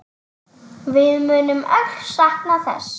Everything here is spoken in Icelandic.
Við munum öll sakna þess.